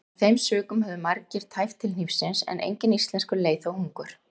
Af þeim sökum höfðu margir tæpt til hnífsins en enginn íslenskur leið þó hungur.